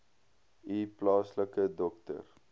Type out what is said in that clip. u plaaslike dokter